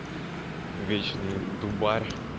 вечный дубарь